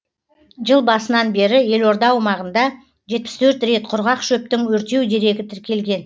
жыл басынан бері елорда аумағында жетпіс төрт рет құрғақ шөптің өртеу дерегі тіркелген